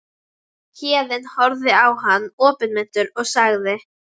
Héðinn horfði á hann opinmynntur og sagði